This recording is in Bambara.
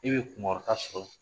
E bɛ kunkɔrɔta sɔrɔ.